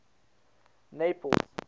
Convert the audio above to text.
naples